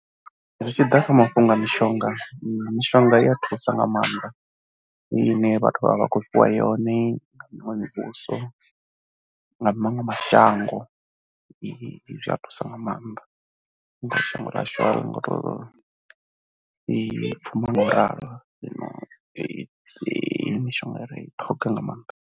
Zwi tshi ḓa kha mafhungo a mishonga, mishonga i ya thusa nga maanḓa heyi ine vhathu vha vha vha khou fhiwa yone nga miṅwe mivhuso nga maṅwe mashango. Zwi a thusa nga maanḓa nga shango ḽashu ngori ngo to ḓipfumisa ngo ralo, mishonga ri a i ṱhoga nga maanḓa.